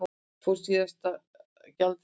Fór með síðasta gjaldeyrinn